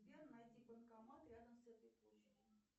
сбер найди банкомат рядом с этой площадью